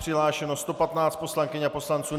Přihlášeno 115 poslankyň a poslanců.